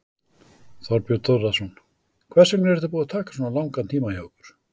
Þorbjörn Þórðarson: Hvers vegna er þetta búið að taka svona langan tíma hjá ykkur?